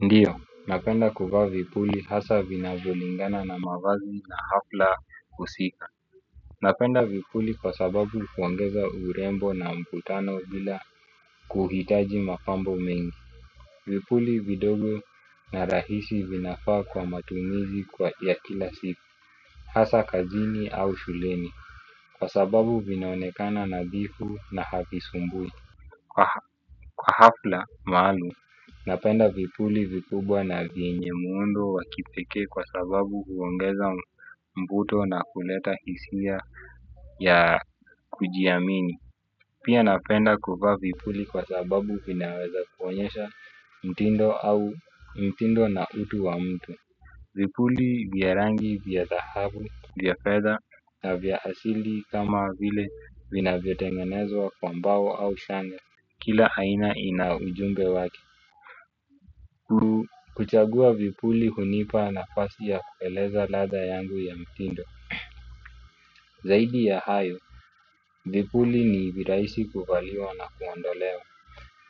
Ndio, napenda kuvaa vipuli hasa vinavyolingana na mavazi na hafla husika. Napenda vipuli kwa sababu huongeza urembo na mvutano bila kuhitaji mapambo mengi. Vipuli vidogo na rahisi vinafaa kwa matumizi kwa ya kila siku. Hasa kazini au shuleni. Kwa sababu vinaonekana nadhifu na havisumbui. Kwa hafla maalum napenda vipuli vikubwa na vyenye muundo wa kipekee kwa sababu huongeza mvuto na huleta hisia ya kujiamini. Pia napenda kuvaa vipuli kwa sababu vinaweza kuonyesha mtindo au mtindo na utu wa mtu. Vipuli vya rangi vya dhahabu vya fedha na vya asili kama vile vinavyotengenezwa kwa mbao au shanga. Kila aina ina ujumbe wake. Kuchagua vipuli hunipa nafasi ya kueleza ladha yangu ya mtindo. Zaidi ya hayo, vipuli ni virahisi kuvaliwa na kuondolewa.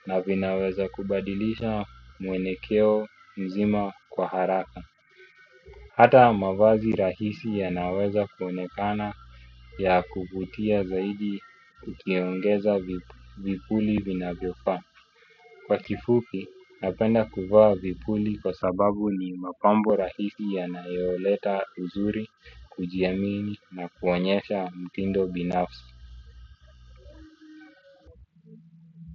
Na vinaweza kubadilisha mwelekeo mzima kwa haraka. Hata mavazi rahisi yanaweza kuonekana ya kuvutia zaidi ukiongeza vipuli vinavyofaa. Kwa kifupi napenda kuvaa vipuli kwa sababu ni mapambo rahisi yanayoleta uzuri, kujiamini na kuonyesha mtindo binafsi.